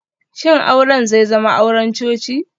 Shin auren zai zama auren coci?